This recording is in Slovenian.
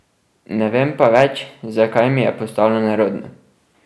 Ne vem pa več, zakaj mi je postalo nerodno.